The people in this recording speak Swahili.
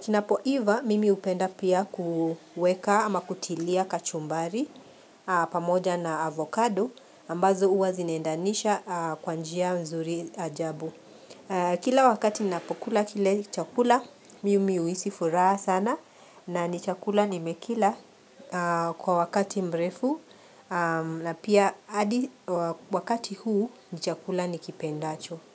Kinapoiva mimi hupenda pia kuweka ama kutilia kachumbari pamoja na avocado ambazo huwa zinaendanisha kwa njia mzuri ajabu. Kila wakati napokula kile chakula mimi huhisi furaha sana, na ni chakula nimekila kwa wakati mrefu na pia wakati huu chakula nikipendacho.